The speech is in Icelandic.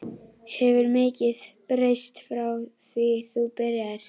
Hefur mikið breyst frá því þú byrjaðir?